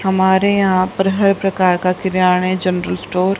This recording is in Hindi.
हमारे यहां पर हर प्रकार का किराणे जनरल स्टोर --